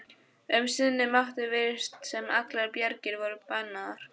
Um sinn mátti virðast sem allar bjargir væru bannaðar.